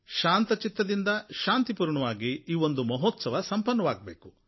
ಶಾಂತ ಚಿತ್ತದಿಂದ ಶಾಂತಿಪೂರ್ಣವಾಗಿ ಈ ಒಂದು ಮಹೋತ್ಸವ ಸಂಪನ್ನವಾಗಬೇಕು